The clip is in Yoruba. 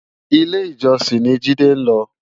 Ilé Ijòsin ni Jide nlò